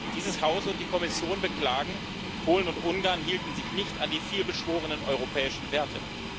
Dieses Haus und die Kommission beklagen, Polen und Ungarn hielten sich nicht an die viel beschworenen europäischen Werte.